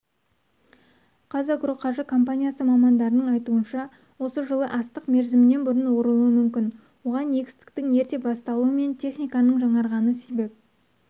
қазагроқаржы компаниясы мамандарының айтуынша осы жылы астық мерзімен бұрын орылуы мүмкін оған егістіктің ерте басталуы пен техниканың жаңарғаны себеп